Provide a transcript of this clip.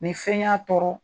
Ni fɛn y'a tɔɔrɔ